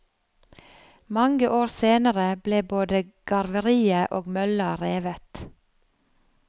Mange år senere ble både garveriet og mølla revet.